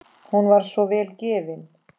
Hún var svo vel gefin.